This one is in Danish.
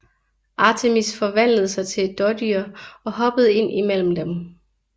Artemis forvandlede sig til et dådyr og hoppede ind imellem dem